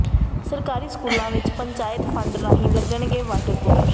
ਸਰਕਾਰੀ ਸਕੂਲਾਂ ਵਿੱਚ ਪੰਚਾਇਤ ਫੰਡ ਰਾਹੀਂ ਲੱਗਣਗੇ ਵਾਟਰ ਕੂਲਰ